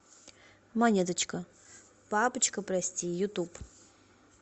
монеточка папочка прости ютуб